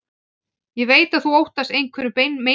Ég veit að þú óttast einhverja meinbugi.